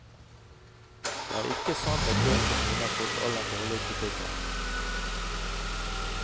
Det er ikke sant at bøkene mine har fått all den dårlige kritikken.